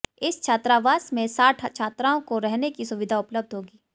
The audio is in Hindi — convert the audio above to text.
इस छात्रावास में साठ छात्राओं को रहने की सुविधा उपलब्ध होगी